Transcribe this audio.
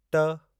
ट